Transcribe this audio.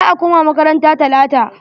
Za a koma makaranta talata.